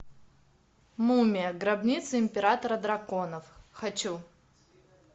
мумия гробница императора драконов хочу